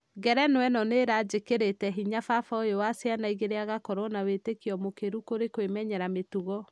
ngerenwa ĩno nĩ ĩra nĩikĩrĩte hinya fafa ũyo wa ciana ĩgĩri agakorwo na weetikio mũkĩru kũri kwĩmenyera mĩtugo.